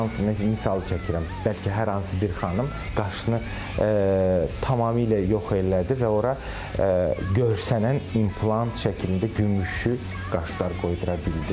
Hər hansı bir misal çəkirəm, bəlkə hər hansı bir xanım qaşını tamamilə yox elədi və ora görsənən implant şəklində gümüşü qaşlar qoydura bildi.